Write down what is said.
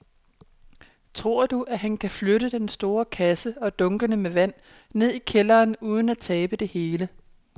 Tror du, at han kan flytte den store kasse og dunkene med vand ned i kælderen uden at tabe det hele?